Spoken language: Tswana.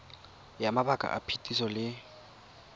ya mabaka a phetiso le